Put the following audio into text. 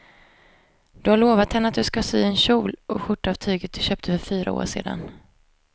Du har lovat henne att du ska sy en kjol och skjorta av tyget du köpte för fyra år sedan.